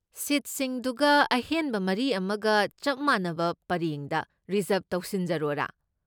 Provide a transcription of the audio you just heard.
ꯁꯤꯠꯁꯤꯡꯗꯨꯒ ꯑꯍꯦꯟꯕ ꯃꯔꯤ ꯑꯃꯒ ꯆꯞ ꯃꯥꯟꯅꯕ ꯄꯔꯦꯡꯗ ꯔꯤꯖ꯭ꯔꯕ ꯇꯧꯁꯤꯟꯖꯔꯣꯔꯥ?